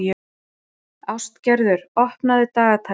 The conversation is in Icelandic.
Ástgerður, opnaðu dagatalið mitt.